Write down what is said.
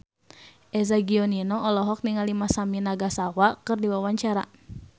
Eza Gionino olohok ningali Masami Nagasawa keur diwawancara